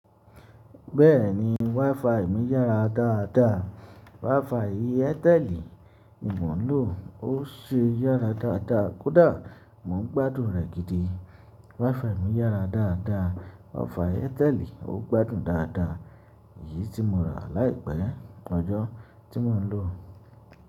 Bẹ́ẹ̀ni, WiFi mi yára dáadáa. WiFi Airtel nì mọ̀ ń lò ó ṣe yára dáadáa. Kódà mo ń gbádùn rẹ̀ gidi. WiFi mi yára dáadáa. Offer Airtel ó gbádùn dáadáa. Èyí tí mo rà láìpẹ́ ọjọ́ tí mo ń lò ọ́.